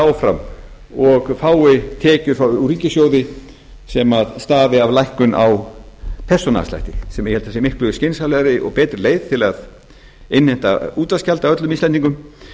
áfram og fái tekjur úr ríkissjóði sem stafi af lækkun á þessum afslætti sem ég held að sé miklu skynsamlegri og betri leið til að innheimta útvarpsgjald af öllum íslendingum